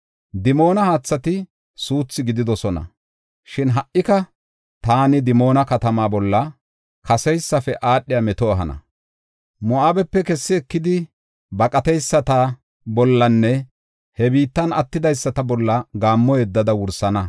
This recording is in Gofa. Dimoona haathati suuthi gididosona; shin, ha77ika taani Dimoona katamaa bolla kaseysafe aadhiya meto ehana. Moo7abepe kessi ekidi baqateyisata bollanne he biittan attidaysata bolla gaammo yeddada wursana.